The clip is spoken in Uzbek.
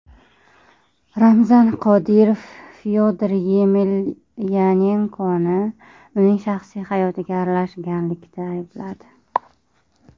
Ramzan Qodirov Fyodor Yemelyanenkoni uning shaxsiy hayotiga aralashganlikda aybladi.